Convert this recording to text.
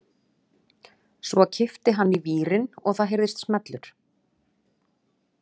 Svo kippti hann í vírinn og það heyrðist smellur.